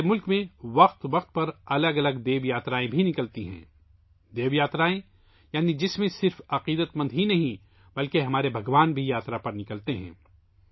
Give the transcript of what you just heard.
ہمارے ملک میں وقتاً فوقتاً مختلف دیو یاترائیں بھی ہوتی ہیں جن میں نہ صرف عقیدت مند بلکہ ہمارے بھگوان بھی یاترا پر نکلتے ہیں